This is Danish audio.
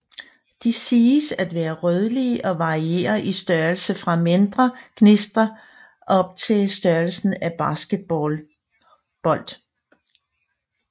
De siges at være rødlige og varierer i størrelse fra mindre gnistre op til størrelsen af basketballbold